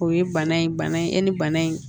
O ye bana in bana ye e ni bana in